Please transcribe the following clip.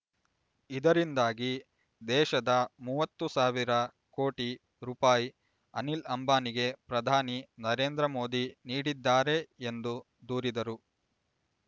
ಇದರಿಂದಾಗಿ ದೇಶದ ಮೂವತ್ತು ಸಾವಿರ ಕೋಟಿ ರೂಪಾಯಿ ಅನಿಲ್ ಅಂಬಾನಿಗೆ ಪ್ರಧಾನಿ ನರೇಂದ್ರ ಮೋದಿ ನೀಡಿದ್ದಾರೆ ಎಂದು ದೂರಿದರು